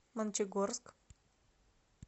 мончегорск